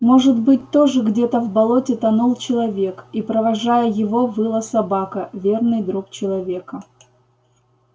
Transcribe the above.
может быть тоже где-то в болоте тонул человек и провожая его выла собака верный друг человека